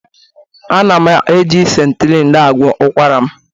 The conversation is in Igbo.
Ana m eji septrin na-agwọ ụkwara m